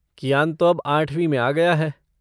कियान तो अब आठवीं में आ गया है।